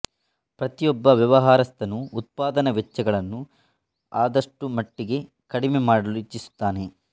ಪ್ರತಿಯೊಬ್ಬ ವ್ಯವಹಾರಸ್ಥನೂ ಉತ್ಪಾದನಾ ವೆಚ್ಚಗಳನ್ನು ಆದಷ್ಟುಮಟಿಗೆ ಕಡಿಮೆ ಮಾಡಲು ಇಚ್ಛಿಸುತ್ತಾನೆ